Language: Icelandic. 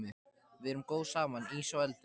Við erum góð saman, ís og eldur.